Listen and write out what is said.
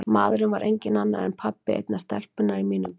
Maðurinn var enginn annar en pabbi einnar stelpunnar í mínum bekk.